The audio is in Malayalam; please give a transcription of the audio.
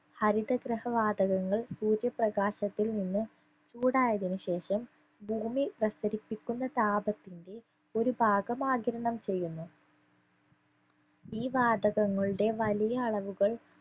ഹരിതഗൃഹ വാതകങ്ങൾ സൂര്യപ്രകാശത്തിൽ നിന്ന് ചൂടായതിനു ശേഷം ഭൂമി പ്രസരിപ്പിക്കുന്ന താപത്തിന്റെ ഒരു ഭാഗം ആഗിരണം ചെയ്യുന്നു ഈ വാതകങ്ങളുടെ വലിയ അളവുകൾ